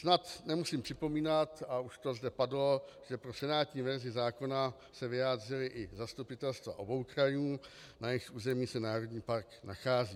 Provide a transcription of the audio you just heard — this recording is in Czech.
Snad nemusím připomínat, a už to zde padlo, že pro senátní verzi zákona se vyjádřila i zastupitelstva obou krajů, na jejichž území se národní park nachází.